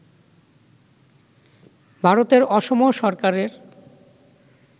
ভারতের অসম সরকারের